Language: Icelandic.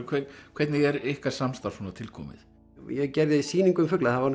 hvernig er ykkar samstarf til komið ég gerði sýningu um fugla það var